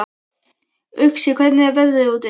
Uxi, hvernig er veðrið úti?